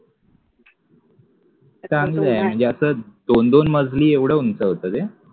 चांगलं आहे म्हणजे असं दोन दोन माजली एव्हडं उंच होतं ते